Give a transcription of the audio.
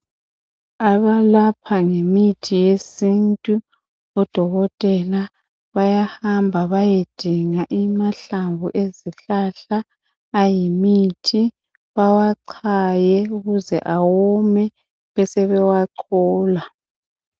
Abalapha ngemithi yesintu odokotela bayahamba beyedinga amahlamvu ezihlahla ayimithi bewachaye ukuze awome besebewachola.